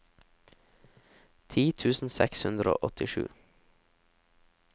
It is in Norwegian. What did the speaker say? ti tusen seks hundre og åttisju